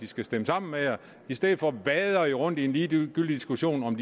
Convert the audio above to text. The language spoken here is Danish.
skal stemme sammen i stedet for at vade rundt i en ligegyldig diskussion om